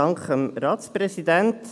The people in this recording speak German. Dank dem Ratspräsidenten.